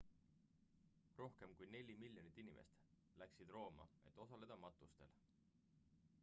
rohkem kui neli miljonit inimest läksid rooma et osaleda matustel